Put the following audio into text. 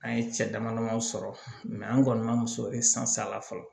An ye cɛ dama damaw sɔrɔ an kɔni ma muso la fɔlɔ